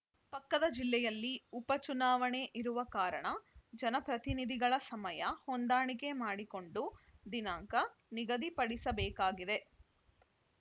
ಪಕ್ಕದ ಜಿಲ್ಲೆಯಲ್ಲಿ ಉಪಚುನಾವಣೆ ಇರುವ ಕಾರಣ ಜನಪ್ರತಿನಿಧಿಗಳ ಸಮಯ ಹೊಂದಾಣಿಕೆ ಮಾಡಿಕೊಂಡು ದಿನಾಂಕ ನಿಗದಿಪಡಿಸಬೇಕಾಗಿದೆ